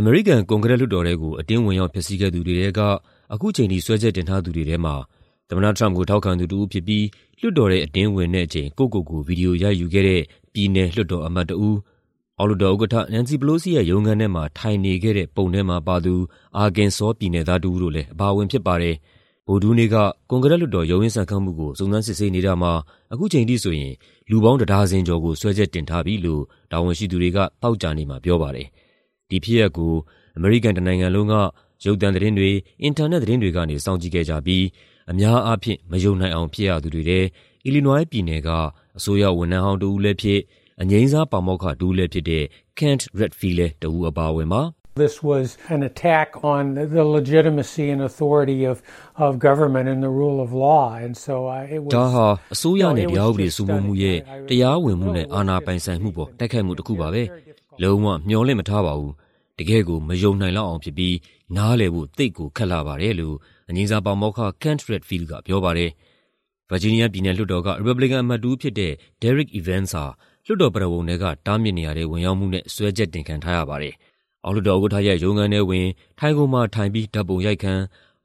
အမေရိကန် ကွန်ဂရက်လွှတ်တော်ထဲကို အတင်းဝင်ရောက် ဖျက်ဆီးခဲ့သူတွေထဲက ခုချိန်ထိ စွဲချက်တင်ထားသူတွေထဲမှာ သမ္မတ Trump ကို ထောက်ခံသူတဦးဖြစ်ပြီး လွှတ်တော်ထဲ အတင်းဝင်တဲ့အချိန် ကိုယ့်ကိုယ်ကို ဗွီဒီယိုရိုက်ယူခဲ့တဲ့ ပြည်နယ်လွှတ်တော်အမတ်တဦး၊ အောက်လွှတ်တော်ဥက္ကဋ္ဌ Nancy Pelosi ရဲ့ရုံးခန်းထဲမှာ ထိုင်နေခဲ့တဲ့ ပုံထဲမှာပါသူ အာကင်ဆောပြည်နယ်သား တဦးတို့လည်း အပါအဝင် ဖြစ်ပါတယ်။ ဗုဒ္ဓဟူးနေ့က ကွန်ဂရက်လွှတ်တော် ရုန်းရင်းဆန်ခတ်မှုကို စုံစမ်းစစ်ဆေးနေတာမှာ ခုချိန်ထိဆိုရင် လူပေါင်း တဒါဇင်ကျော်ကို စွဲချက်တင်ထားပြီလို့ တာဝန်ရှိသူတွေက သောကြာနေ့မှာ ပြောပါတယ်။ ဒီဖြစ်ရပ်ကို အမေရိကန်တနိုင်ငံလုံးက ရုပ်သံသတင်းတွေ၊ အင်တာနက်သတင်းတွေကနေ စောင့်ကြည့်ခဲ့ကြပြီး အများအားဖြင့် မယုံနိုင်အောင် ဖြစ်ရသူတွေထဲ အီလီနွိုင်းပြည်နယ်က အစိုးရဝန်ထမ်းဟောင်း တဦးလည်းဖြစ်၊ အငြိမ်းစား ပါမောက္ခတဦးလည်းဖြစ်တဲ့ Kent Redfield လည်း တဦးအပါအဝင်ပါ။ "ဒါဟာ အစိုးရနဲ့ တရားဥပဒေစိုးမိုးမှုရဲ့ တရားဝင်မှုနဲ့ အာဏာပိုင်ဆိုင်မှုပေါ် တိုက်ခိုက်မှုတခုပါပဲ။ လုံးဝ မျှော်လင့်မထားပါဘူး၊ တကယ့်ကို မယုံနိုင်လောက်အောင်ဖြစ်ပြီး နားလည်ဖို့ သိပ်ကိုခက်လှပါတယ်" လို့ အငြိမ်းစား ပါမောက္ခ Kent Redfield က ပြောပါတယ်။ ဗာဂျီးနီးယားပြည်နယ်လွှတ်တော်က ရီပတ်ဘလီကန် အမတ်တဦးဖြစ်တဲ့ Derrick Evans ဟာ လွှတ်တော်ပရဝုဏ်ထဲက တားမြစ်နေရာထဲ ဝင်ရောက်မှုနဲ့ စွဲချက်တင်ခံထားရပါတယ်။ အောက်လွှတ်တော်ဥက္ကဋ္ဌရဲ့ ရုံးခန်းထဲဝင်၊ ထိုင်ခုံမှာထိုင်ပြီး ဓာတ်ပုံရိုက်ခံ၊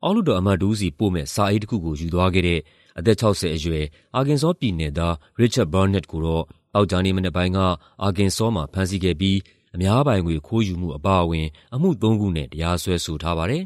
အောက်လွှတ်တော်အမတ်တဦးဆီ ပို့မယ့် စာအိတ်တခုကို ယူသွားခဲ့တဲ့ အသက် ၆၀ အရွယ် အာကင်ဆောပြည်နယ်သား Richard Barnett ကိုတော့ သောကြာနေ့မနက်ပိုင်းက အာကင်ဆောမှာ ဖမ်းဆီးခဲ့ပြီး အများပိုင်ငွေ ခိုးယူမှု အပါအဝင် အမှုသုံးခုနဲ့ တရားစွဲဆိုထားပါတယ်